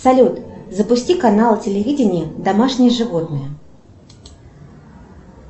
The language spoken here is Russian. салют запусти канал телевидения домашние животные